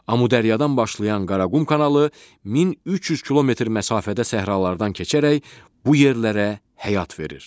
Amudəryadan başlayan Qaraqum kanalı 1300 kilometr məsafədə səhralardan keçərək bu yerlərə həyat verir.